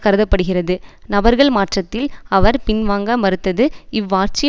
கருத படுகிறது நபர்கள் மாற்றத்தில் அவர் பின்வாங்க மறுத்தது இவ்வாட்சி